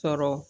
Sɔrɔ